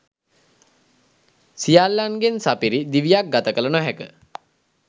සියල්ලන්ගෙන් සපිරි දිවියක් ගත කළ නොහැක.